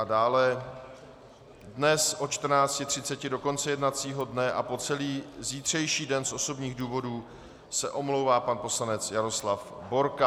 A dále dnes od 14.30 do konce jednacího dne a po celý zítřejší den z osobních důvodů se omlouvá pan poslanec Jaroslav Borka.